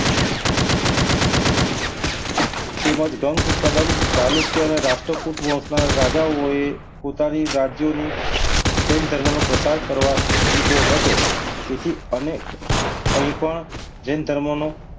તેમજ ગંગ કલમ ચાલુક્ય અને રાષ્ટ્રકૂટ વંશના રાજાઓએ પોતાની રાજ્યની જૈન ધર્મનો પ્રસાર કરવા દીધો હતો. તેથી અનેક કંઈ પણ જૈન ધર્મનો,